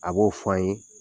A b'o fɔ an ye.